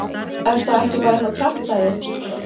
Er það ekki bara eitthvað kjaftæði?